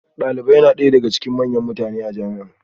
Dalibai suna ɗaya daga cikin manyan mutane a jami'a